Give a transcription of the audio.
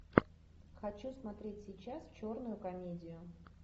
хочу смотреть сейчас черную комедию